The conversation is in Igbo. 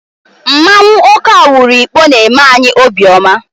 Mmanwụ Okawaru Ikpo na-eme anyị obiọma.